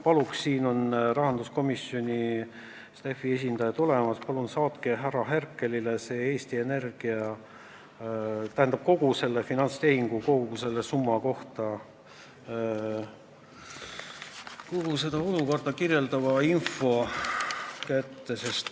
Rahanduskomisjoni staff'i esindajad on saalis, palun saatke härra Herkelile seda Eesti Energia finantstehingut puudutav ja kogu seda olukorda kirjeldav info.